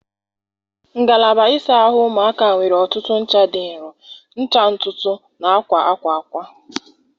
Ngalaba ịsa ahụ ụmụaka nwere ọtụtụ ncha dị nro, ncha ntutu na akwa akwa akwa.